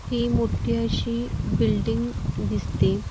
हि मोठी अशी बिल्डिंग दिसते.